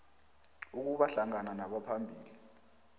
ukuba hlangana nabaphambili